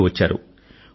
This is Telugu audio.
తిరిగి వచ్చారు